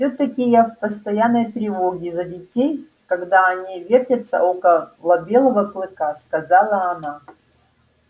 всё таки я в постоянной тревоге за детей когда они вертятся около белого клыка сказала она